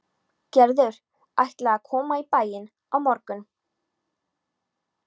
Gerður ætlaði að koma í bæinn á morgun.